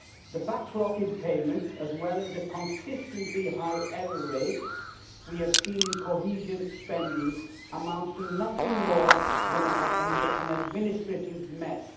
The backlog in payments as well as the consistently high error rate we have seen in cohesion spending amount to nothing more than an administrative mess.